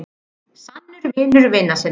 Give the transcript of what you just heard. Sannur vinur vina sinna.